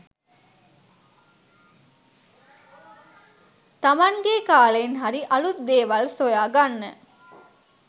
තමන්ගේ කාලයෙන් හරි අලුත් දේවල් සොයාගන්න